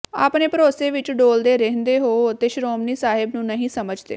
ਆਪਣੇ ਭਰੋਸੇ ਵਿੱਚ ਡੋਲਦੇ ਰਹਿਦੇ ਹੋ ਅਤੇ ਸ਼ਰੋਮਣੀ ਸਾਹਿਬ ਨੂੰ ਨਹੀਂ ਸਮਝਦੇ